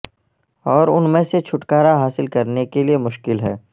اور ان میں سے چھٹکارا حاصل کرنے کے لئے مشکل ہے